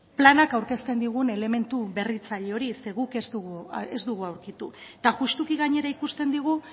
planak aurkezten digun elementu berritzaile hori zeren guk ez dugu aurkitu eta justuki gainera ikusten digu